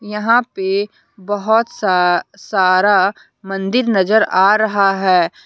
यहां पे बहुत सा सारा मंदिर नजर आ रहा है।